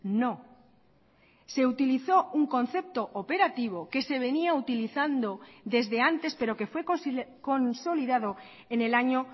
no se utilizó un concepto operativo que se venía utilizando desde antes pero que fue consolidado en el año